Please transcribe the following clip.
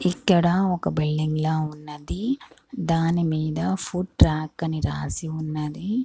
ఇక్కడ ఒక బిల్డింగ్ లా ఉన్నది దాని మీద ఫుడ్ ట్రాక్ అని రాసి ఉన్నది.